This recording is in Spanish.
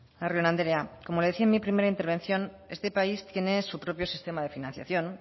larrion andrea como le decía en mi primera intervención este país tiene su propio sistema de financiación